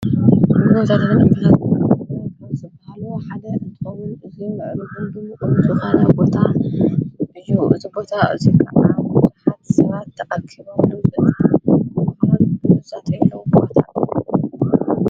ዎ ዘለበን እምበኸት ዘብል ሓደ እንቶምን እዙይ ምዕሩ ዂልድምምዙኻነ ጐታ ብሒዉ እዝቦታ እዙይፍዓሓ ሠባት ተኣኪበሉ ፍል ብዘጸተይለዉ ምወታ።